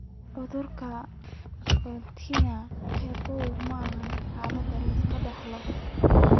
Cudurka agglutinin qabow maaha xaalad la iska dhaxlo.